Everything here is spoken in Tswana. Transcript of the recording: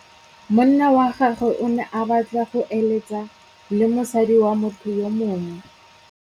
Monna wa gagwe o ne a batla go êlêtsa le mosadi wa motho yo mongwe.